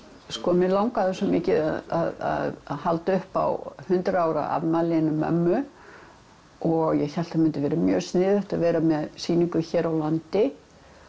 mig langaði svo mikið að halda upp á hundrað ára afmælið hennar mömmu og ég hélt að það mundi vera mjög sniðugt að vera með sýningu hér á landi